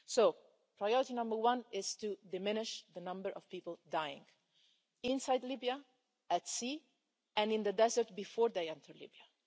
So priority number one is to diminish the number of people dying inside Libya, at sea, and in the desert before they enter Libya.